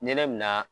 Nɛnɛ bi na